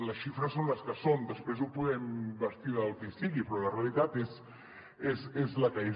les xifres són les que són després ho podem bastir del que sigui però la realitat és la que és